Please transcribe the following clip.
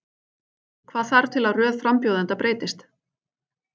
Hvaða þarf til að röð frambjóðenda breytist?